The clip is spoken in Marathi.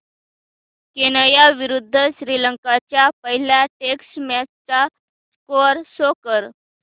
केनया विरुद्ध श्रीलंका च्या पहिल्या टेस्ट मॅच चा स्कोअर शो कर